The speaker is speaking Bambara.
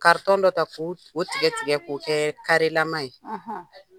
dɔ ta k'o o tigɛ tigɛ k'o kɛ karelama ye.